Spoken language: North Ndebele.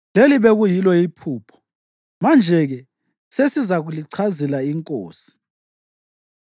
Leli bekuyilo iphupho, manje-ke sesizalichazela inkosi.